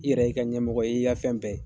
I yɛrɛ y'i ka ɲɛmɔgɔ ye, ii ka fɛn bɛɛ